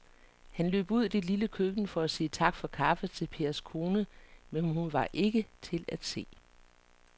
Han løb ud i det lille køkken for at sige tak for kaffe til Pers kone, men hun var ikke til at se.